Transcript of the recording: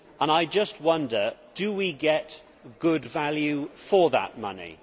I just wonder do we get good value for that money?